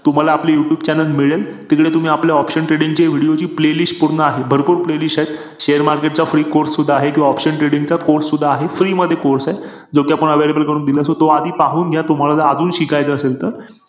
Interest च गेलाय ipl बघण्याचा .